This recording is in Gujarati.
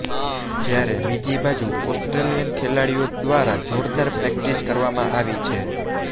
જયારે બીજી બાજુ ઓસ્ટ્રેલિયન ખેલાડીઓ ઘ્વારા જોરદાર પ્રેક્ટિસ કરવામાં આવી છે